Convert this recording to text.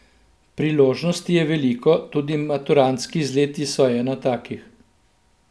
Priložnosti je veliko, tudi maturantski izleti so ena takih.